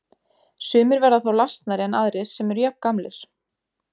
Sumir verða þá lasnari en aðrir sem eru jafngamlir.